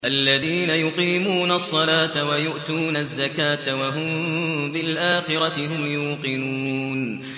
الَّذِينَ يُقِيمُونَ الصَّلَاةَ وَيُؤْتُونَ الزَّكَاةَ وَهُم بِالْآخِرَةِ هُمْ يُوقِنُونَ